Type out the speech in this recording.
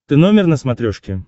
ты номер на смотрешке